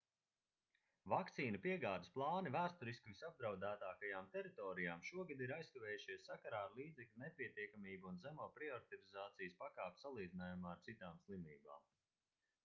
vakcīnu piegādes plāni vēsturiski visapdraudētākajām teritorijām šogad ir aizkavējušies sakarā ar līdzekļu nepietiekamību un zemo prioritizācijas pakāpi salīdzinājumā ar citām slimībām